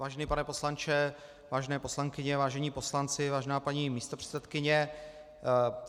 Vážený pane poslanče, vážené poslankyně, vážení poslanci, vážená paní místopředsedkyně.